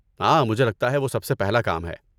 ہاں، مجھے لگتا ہے وہ سب سے پہلا کام ہے۔